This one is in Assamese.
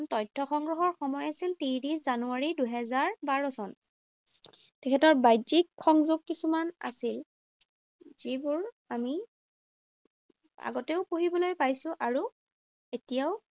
তথ্য সংগ্ৰহৰ সময় আছিল ত্ৰিশ জানুৱাৰী, দুহেজাৰ বাৰ চন। তেখেতৰ বাহ্যিক সংযোগ কিছুমান আছিল যিবোৰ আমি আগতেও পঢ়িবলৈ পাইছো আৰু এতিয়াও